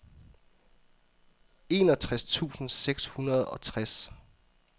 enogtres tusind seks hundrede og tres